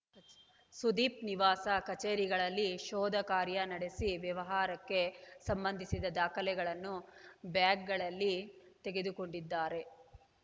ಸುದೀಪ್‌ ನಿವಾಸ ಕಚೇರಿಗಳಲ್ಲಿ ಶೋಧ ಕಾರ್ಯ ನಡೆಸಿ ವ್ಯವಹಾರಕ್ಕೆ ಸಂಬಂಧಿಸಿದ ದಾಖಲೆಗಳನ್ನು ಬ್ಯಾಗ್‌ಗಳಲ್ಲಿ ತೆಗೆದುಕೊಂಡಿದ್ದಾರೆ